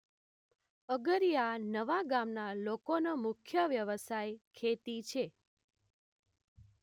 અગરીયા નવા ગામના લોકોનો મુખ્ય વ્યવસાય ખેતી છે